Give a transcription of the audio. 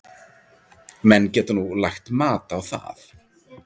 Menn geta nú lagt mat á það.